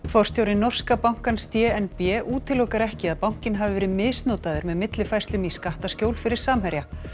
forstjóri norska bankans d n b útilokar ekki að bankinn hafi verið misnotaður með millifærslum í skattaskjól fyrir Samherja